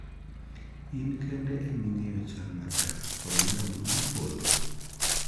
In kende iming'eyo chal mar dak kod nyarogno mopodho.